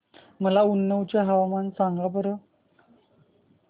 मला उन्नाव चे हवामान सांगा बरं